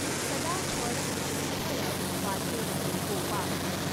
सदा फळ सुफळ वाचॆसी गॊपाळ.